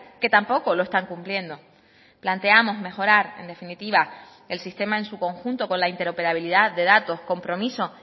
que tampoco lo están cumpliendo planteamos mejorar en definitiva el sistema en su conjunto con la interoperabilidad de datos compromiso